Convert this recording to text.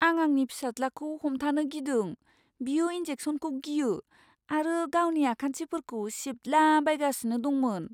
आं आंनि फिसाज्लाखौ हमथानो गिदों, बियो इन्जेक्सनखौ गियो आरो गावनि आखान्थिफोरखौ सिबद्लाबायगासिनो दंमोन।